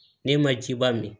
Ne ma jiba min